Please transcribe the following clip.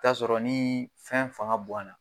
I bi taa sɔrɔ ni fɛn fanga boyan na